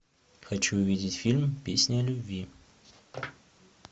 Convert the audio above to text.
хочу увидеть фильм песня о любви